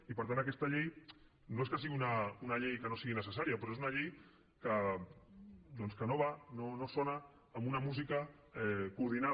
i per tant aquesta llei no és que sigui una llei que no sigui necessària però és una llei doncs que no va no sona amb una música coordinada